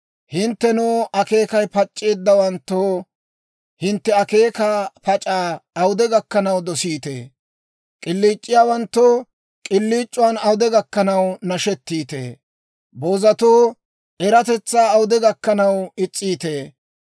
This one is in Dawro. «Hinttenoo, akeekay pac'c'eeddawanttoo, hintte akeekaa pac'aa awude gakkanaw dosiitee? K'iliic'iyaawanttoo, k'iliic'iyaawan awude gakkanaw nashettiitee? Boozatoo, eratetsaa awude gakkanaw is's'iitee?